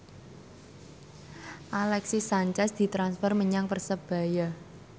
Alexis Sanchez ditransfer menyang Persebaya